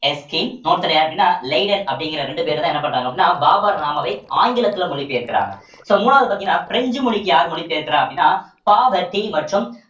Erskine இன்னொருத்தர் யாரு அப்படின்னா லேடன் அப்படிங்கிற ரெண்டு பேருதான் என்ன பண்றாங்க அப்படின்ன பாபர் நாமாவை ஆங்கிலத்தில மொழி பெயர்க்கிறாங்க so மூணாவது பார்த்தீங்கன்னா பிரெஞ்சு மொழிக்கு யார் மொழி பெயர்க்கிறா அப்படின்னா